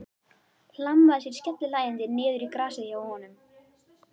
Hlammaði sér skellihlæjandi niður í grasið hjá honum.